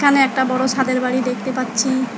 এখানে একটা বড় সাদের বাড়ি দেখতে পাচ্ছি।